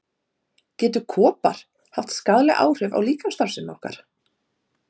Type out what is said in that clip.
Getur kopar haft skaðleg áhrif á líkamsstarfsemi okkar?